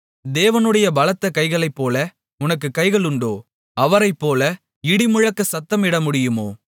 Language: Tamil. தேவனுடைய பலத்த கைகளைப்போல உனக்கு கைகளுண்டோ அவரைப்போல இடிமுழக்கமாகச் சத்தமிடமுடியுமோ